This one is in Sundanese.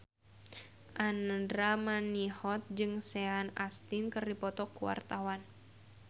Andra Manihot jeung Sean Astin keur dipoto ku wartawan